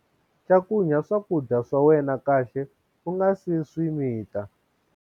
Cakunya swakudya swa wena kahle u nga si swi mita.